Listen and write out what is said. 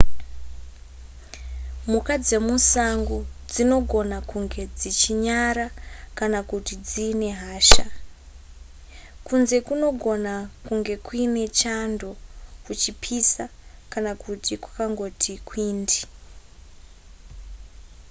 mhuka dzemusango dzinogona kunge dzichinyara kana kuti dziine hasha kunze kunogona kunge kuine chando kuchipisa kana kuti kwakangoti kwindi